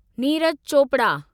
Neeraj Chopra